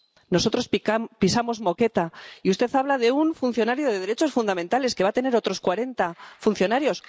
Nosotros pisamos moqueta y usted habla de un funcionario de derechos fundamentales que va a tener otros 40 funcionarios.